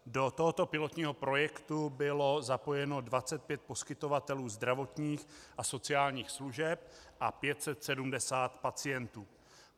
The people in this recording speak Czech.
Do tohoto pilotního projektu bylo zapojeno 25 poskytovatelů zdravotních a sociálních služeb a 570 pacientů.